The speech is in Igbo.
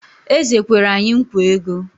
Eze kwere anyị nkwa ego